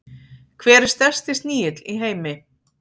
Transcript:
Hver er stærsti snigill í heimi?